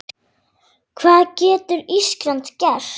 Hvað getur Ísland gert?